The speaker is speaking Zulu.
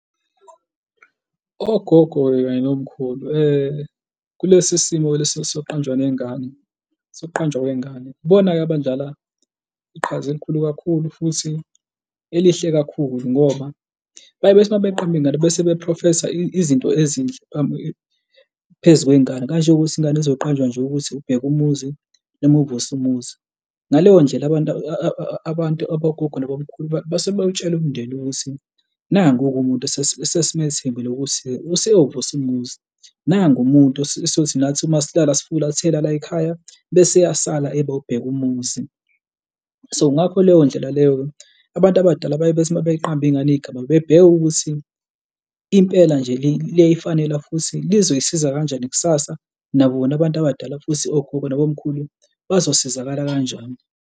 Ogogo-ke kanye nomkhulu kulesi simo leso sokuqanjwa nengane, sokuqanjwa kwengane. Ibona-ke abadlala iqhaza elikhulu kakhulu futhi elihle kakhulu ngoba baye bethi uma beqamba ingane bese bephrofesa izinto ezinhle phezu kwengane kanjengokuthi ingane izoqanjwa nje ukuthi uBhekumuzi noma uVusumuzi. Ngaleyo ndlela abantu abantu abogogo nabomkhulu basuke bewutshala umndeni ukuthi nangu-ke umuntu esesimethembele ukuthi useyovusa umuzi, nangu umuntu nathi uma siqaala sifulathela la yikhaya bese eyasala eba ubheka umuzi. So ngakho leyo ndlela leyo abantu abadala bathi uma beyiqamba ingane igama bebheke ukuthi impela nje liyayifanela futhi lizoyisiza kanjani kusasa, nabo bona abantu abadala futhi ogogo nabomkhulu bazosizakala kanjani?